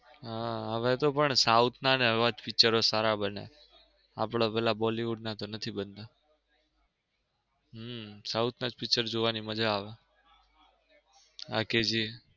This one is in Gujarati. હા હવે તો પણ south ના એવા જ picture સારા બને આપડા ઓલા બોલિવૂડ ના તો નથી બનતા હમ south ના જ picture જોવની મજા આવે.